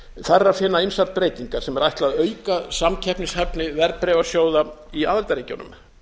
þar er að finna ýmsar breytingar sem er ætlað að auka samkeppnishæfni verðbréfasjóða í aðildarríkjunum